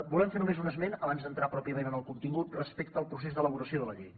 volem fer només un esment abans d’entrar pròpiament en el contingut respecte al procés d’elaboració de la llei